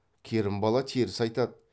керімбала теріс айтады